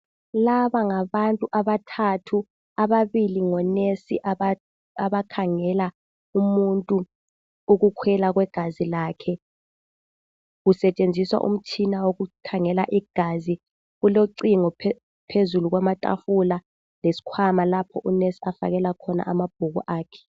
Laba ngabantu abathathu, ababili ngonesi abakhangela umuntu ukukhwela kwegazi lakhe kusetshenziswa umtshina wokukhangela igazi. Kulocingo phezulu kwamatafula lesikhwama lapho unesi afakela khona amabhuku akhe.